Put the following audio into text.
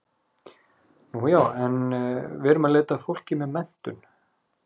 Nú já, en við erum að leita að fólki með menntun.